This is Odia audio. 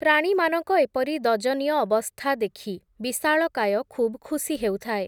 ପ୍ରାଣୀମାନଙ୍କ ଏପରି ଦଯନୀୟ ଅବସ୍ଥା ଦେଖି, ବିଶାଳକାୟ ଖୁବ୍ ଖୁସି ହେଉଥାଏ ।